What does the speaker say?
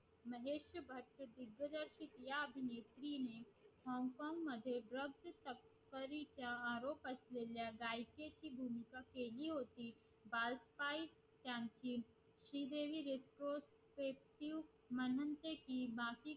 तिने hong kong मध्ये drug तस्करी चा आरोप असलेल्या गायकेची भूमिका केली होती